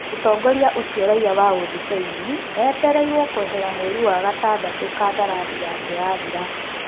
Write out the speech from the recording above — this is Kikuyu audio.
Mũtongoria ũcio raia wa ũthibeini etereirwo kũehera mweri wa gatandatũ kandarathi yake yathira.